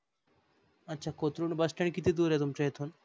अच्छा Kothrud bus stand किती दूर आहे तुमच येथन?